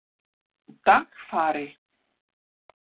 Dagfari